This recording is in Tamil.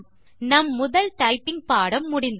நம் முதல் டைப்பிங் பாடம் முடிந்தது